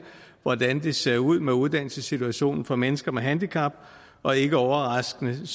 hvordan det ser ud med uddannelsessituation for mennesker med handicap og ikke overraskende